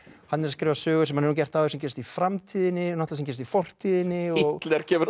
hann er að skrifa sögu sem hann hefur gert áður sem gerist í framtíðinni sem gerist í fortíðinni Hitler kemur